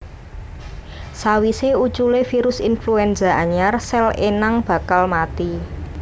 Sawisé uculé virus influenza anyar sèl inang bakal mati